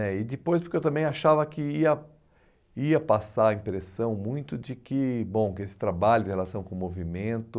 né. E depois porque eu também achava que ia ia passar a impressão muito de que, bom, que esse trabalho tem relação com o movimento...